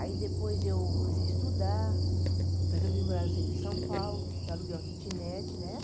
Aí depois eu comecei a estudar, depois eu vim morar no centro de São Paulo, aluguei uma kitnet, né?